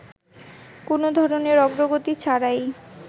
কোন ধরনের অগ্রগতি ছাড়াই